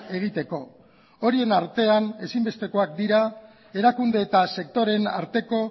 egiteko horien artean ezinbestekoak dira erakunde eta sektoreen arteko